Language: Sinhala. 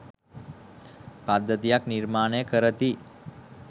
පද්ධතියක් නිර්මාණය කරති